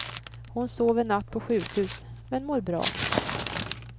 Hon sov en natt på sjukhus men mår bra.